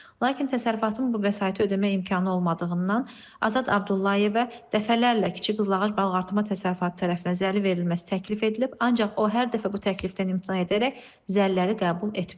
Lakin təsərrüfatın bu vəsaiti ödəmək imkanı olmadığından Azad Abdullayevə dəfələrlə kiçik qızıl ağac balıqartırma təsərrüfatı tərəfindən zəli verilməsi təklif edilib, ancaq o hər dəfə bu təklifdən imtina edərək zəliləri qəbul etməyib.